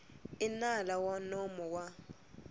i nala wa nomo wa